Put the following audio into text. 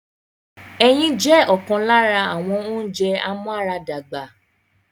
Ẹyin jẹ́ ọ̀kan lára àwọn ounjẹ amúaradàgbà